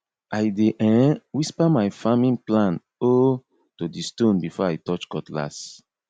i dey um whisper my farming plan um to di stone before i touch cutlass